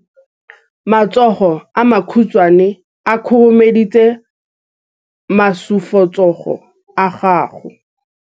matsogo a makhutshwane a khurumetsa masufutsogo a gago